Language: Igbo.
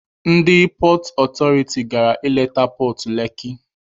Ndị pọọt ọtọriti gara ịleta pọọt Leki.